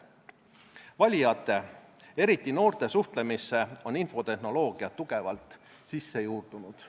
Valijate, eriti noorte suhtlemisse on infotehnoloogia tugevalt sisse juurdunud.